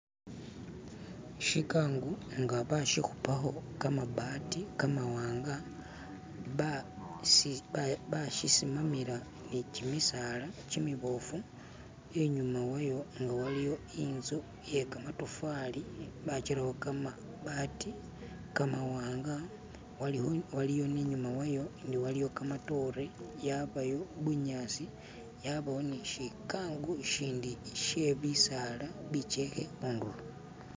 Shigango nga bashikubako gamabbati gamawanga baashisimamila ni gimisaala gimibofu inyuma wayo nga waliyo inzu iyegamatafali bajitaako gamabbati ga mawanga waliyo ni nyuma wayo gamadoote, yabayo bunyaasi, yabayo ni shigango shindi she bisaala bijeekhe khunduro